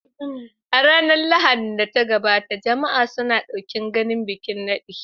A ranar Lahadin da ta gabata, jama'a suna ɗokin ganin bikin nadin.